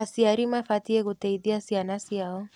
Aciari mabatiĩ gũteithia ciana ciao.